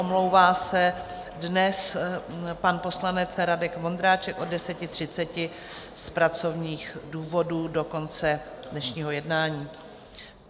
Omlouvá se dnes pan poslanec Radek Vondráček od 10.30 z pracovních důvodů do konce dnešního jednání.